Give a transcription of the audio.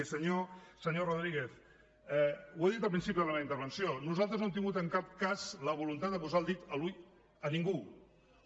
i senyor rodríguez ho he dit al principi de la meva intervenció nosaltres no hem tingut en cap cas la voluntat de posar el dit a l’ull a ningú a ningú